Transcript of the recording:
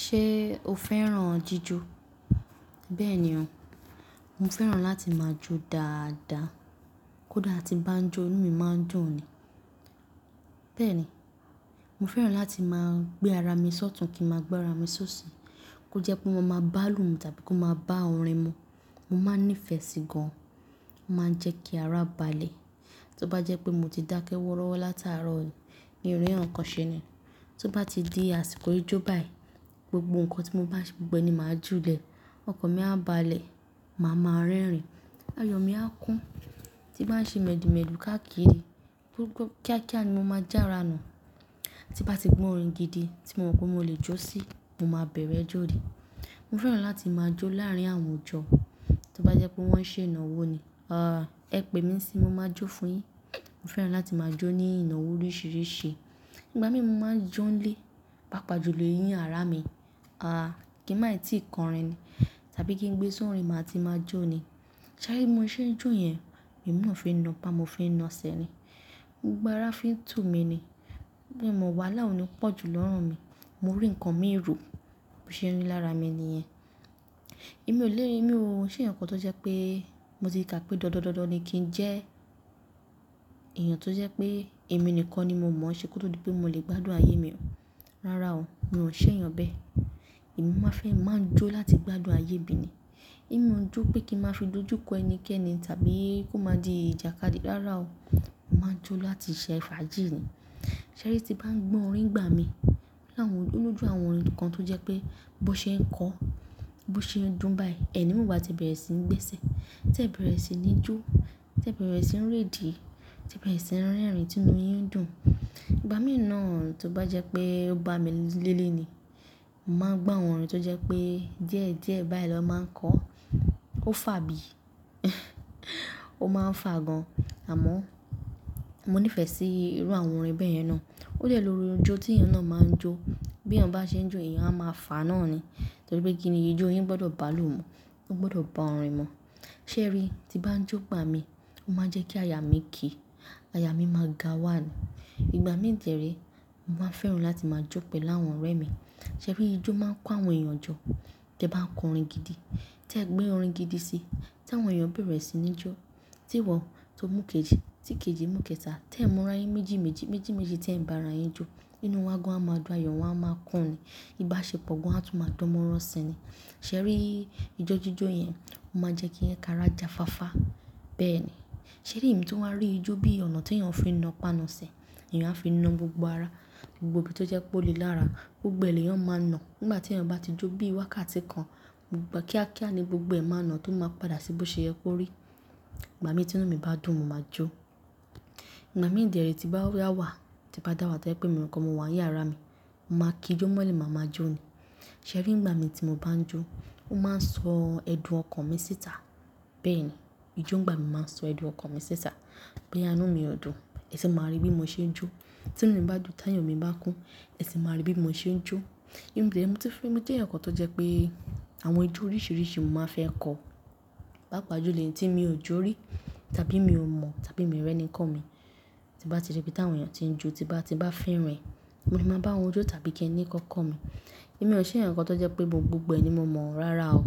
Ṣé o fẹ́ràn jíjó? Bẹ́ẹ̀ ni ọ̀, mo fẹ́ràn láti máa jó dáadáa. Kódà tí bá ń jó inú mi máa ń dùn ni. Bẹ́ẹ̀ ni, mo fẹ́ràn láti máa gbé ara mi sọ́tùn kí n máa gbá ara mi ṣóṣò. Kó jẹ́ pé mo máa bá lù ú tàbí kó máa bá orin mo. Mo máa nífẹ̀ẹ́ sí gan, ó máa ń jẹ́ kí ara balẹ̀. Tó bá jẹ́ pé mo ti dákẹ́ wọ́rọ́wọ́ láti àárọ̀ ni, mi ò rí ǹkankan ṣe ni. Tó bá ti di àsìkò ijó báyìí, gbogbo ǹkan tí mo bá ṣe gbogbo ẹ ni màá ju lè. Ọkàn mi a bá balẹ̀, màá ma rẹ́rìn-ín, ayọ̀ mi a kún, tí bá ń ṣe mèdìmẹ́dì káàkiri, gbógbó kíákíá ni mo máa já ara nù. Tí bá ti gbọ́ orin gidi tí mo mọ̀ pé mo lè jó sí, mo máa bẹ̀rẹ̀ jó ni. Mo fẹ́ràn láti máa jó láàrín àwọn òjò tó bá jẹ́ pé wọ́n ṣe ìnáwó ni, àá ẹ pè mí síi mo máa jó fún yín. Mo fẹ́ràn láti máa jó ní ìnáwó oríṣìíríṣìí. Ìgbà mìí mo máa ń jó ń lé, bápa ju lè yín ara mi, àá kí n má ì tí kọrin ni tàbí kí n gbé sórin màá ti máa jó ni. Ṣẹ́rí mo ṣe jó yẹn, èmina fii na pa mo fii na sẹ ni. Gbogbo ara fi ń tùu mi ni. Ẹ̀ẹ̀mọ̀ wàhálà oní pọ̀jù lọ́rùn mi. Mo rí ǹkan mìí ro bó ṣe n rí lára mi ni yẹn. Èmi ò lè ní ohun ṣe ẹ̀yàn kan tó jẹ́ pé mo ti kà pé dọ́dọ́dọ́dọ́ ni kí n jẹ́ èèyàn tó jẹ́ pé èmi nìkan ni mo mọ̀ ṣé kó tó di pé mo lè gbádùn ayé mi ọ. Rárá o, mi ò n ṣe ẹ̀yàn bẹ́ẹ̀. Èmi máa fẹ́ máa jó láti gbádùn ayé mi ni. E mi ò n jó pé kí n máa fi dójú kọ ẹni kẹ́ni tàbí kó má di ìjàkadì, rárá o, mo máa jó láti ṣe fàájì ni. Ṣẹ́rí tí bá ń gbọ́ orin ìgbà mí, láwọn olójú àwọn orin kan tó jẹ́ pé bó ṣe ń kọ, bó ṣe ń dùn báyìí, ẹ̀ni mo bá ti bẹ̀rẹ̀ sí í n gbésẹ̀, tí ẹ bẹ̀rẹ̀ sí ní jó, tí ẹ bẹ̀rẹ̀ sí ní réde, tí ẹ bẹ̀rẹ̀ sí ní rẹ́rìn-ín tí inú yín ń dùn. Ìgbà mìí ná tó bá jẹ́ pé ó bá mi léle ni, mo máa gbọ́ àwọn orin tó jẹ́ pé díẹ̀díẹ̀ báyìí lọ máa ń kọ. Ó fà bí i, ó máa ń fà gan, àmọ́ mo nífẹ̀ẹ́ sí irú àwọn orin bẹ́ẹ̀ yẹn ná. Ó dé lórí ijó tí èèyàn náà máa ń jó. Bí èèyàn bá ṣe ń jó èèyàn a máa fà á náà ni. Torí pé kíni ijó yín gbọ́dọ̀ bá lù ú mọ́, ó gbọ́dọ̀ bá orin mọ̀. Ṣẹ́rí tí bá ń jó gbà mí, ó máa ń jẹ́ kí aya mi kì í, aya mi máa ga wá ni. Ìgbà mìí dere mo máa ń fẹ́ràn láti máa jó pẹ̀lú àwọn ọ̀rẹ́ mi. Ṣẹ́rí ijó máa ń kó àwọn èèyàn jọ, tí ẹ bá ń kọ orin gidi, tí ẹ gbé orin gidi si, tí àwọn èèyàn bẹ̀rẹ̀ sí ní jó, tí ìwọ tó mú kejì tí kejì mú kẹta, tí ẹ̀ n mú ara yín méjì méjì, méjì méjì tí ẹ̀ ń bá ara yín jó, inú wa gan á máa dùn, ayọ̀ wa a máa kún ni. Ìbáṣepọ̀ gan á tún máa dán mó rán si ni. Ṣẹ́rí ijó jíjó yẹn ó máa ń jẹ́ kí karajà fáfa. Bẹ́ẹ̀ ni. Ṣẹ́rí èmi tó wá rí ijó bí i ọ̀nà tí èèyàn fi ń ná pá nà sẹ, èèyàn á fi na gbogbo ara, gbogbo ibi tó jẹ́ pé ó le lára, gbogbo e le yan máa ń ná. Nígbà tí èèyàn bá ti jó bí i wákàtí kan, gbogbo kíákíá ni gbogbo ẹ̀ máa ń ná tó máa padà sí bó ṣe yẹ kó rí. Ìgbà mìíràn tí inú mi bá dùn mo máa jó. Ìgbà mìí de re tí n bá da wà, tí bá dá wà tó jẹ́ pé èmi nìkan mo wà ní yàrá mi, mo máa kí ijó mọ́lẹ̀ màá máa jó ni. Ṣẹ́rí ìgbà mi tí mo bá ń jó, ó máa ń sọ ẹ̀dùn ọkàn mi síta. Bẹ́ẹ̀ ni, ijó ìgbà mi máa ń sọ ẹ̀dùn ọkàn mi síta. Bóyá inú mi ò dùn, ẹ sì máa rí bí mo ṣe ń jó. Tí inú mi bá dùn, tí ayọ̀ mi bá kún, ẹ sì máa rí bí mo ṣe ń jó. Èmi dere mo ti fẹ́, mo jẹ́ ẹ̀yàn kan tó jẹ́ pé àwọn ijó oríṣìíríṣìí mo máa fẹ́ kọ̀. Bápa ju èyí tí mi ò jó rí tàbí mi ò mọ̀ tàbí mi ò rí ẹni komi, tí bá ti rí bí ti àwọn èèyàn tí ń jó, tí bá ti bá fẹ́ràn ẹ̀, òun ni máa bá wọn jó tàbí kí ni kan kọ̀ mí. Èmi ò ṣe ẹ̀yàn kan tó jẹ́ pé mo gbogbo ẹni mo mọ̀. Rárá o,